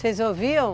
Vocês ouviam?